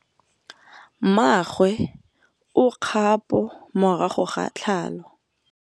Mmagwe o kgapô morago ga tlhalô.